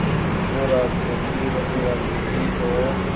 वो राजकोट की ही रहने वाली थीं और